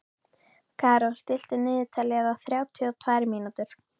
Karó, stilltu niðurteljara á þrjátíu og tvær mínútur.